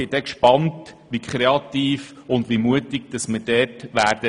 Ich bin gespannt, wie kreativ und mutig wir dann sein werden.